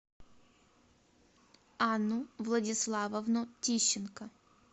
анну владиславовну тищенко